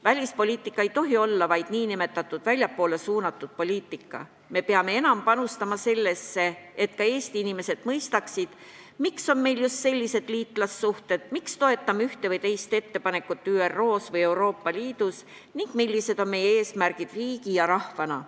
Välispoliitika ei tohi olla vaid nn väljapoole suunatud poliitika, me peame enam panustama sellesse, et ka Eesti inimesed mõistaksid, miks on meil just sellised liitlassuhted, miks me toetame ühte või teist ettepanekut ÜRO-s või Euroopa Liidus ning millised on meie eesmärgid riigi ja rahvana.